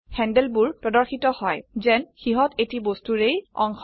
হ্যান্ডলবোৰ প্ৰদৰ্শিত হয় যেন সিহত এটি বস্তুৰেই অংশ